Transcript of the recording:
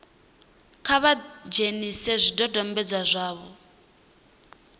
kha vha dzhenise zwidodombedzwa zwa